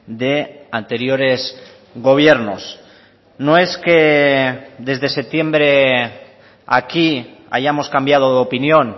de anteriores gobiernos no es que desde septiembre aquí hayamos cambiado de opinión